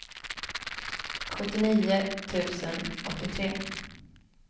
sjuttionio tusen åttiotre